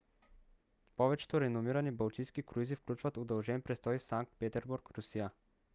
повечето реномирани балтийски круизи включват удължен престой в санкт петербург русия